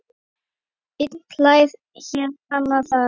Einn hlær hér, annar þar.